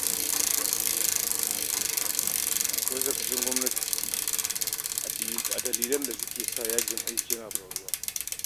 Akwai sakacin gwamnati a dalilan da suke sa faruwar yajin aiki